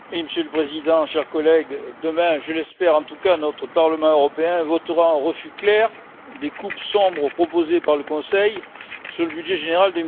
Monsieur le Président, chers collègues, demain je l'espère en tout cas notre Parlement européen votera un refus clair des coupes sombres proposées par le Conseil dans le budget général